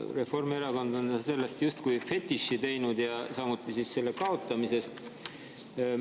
Reformierakond on sellest justkui fetiši teinud, samuti selle kaotamisest.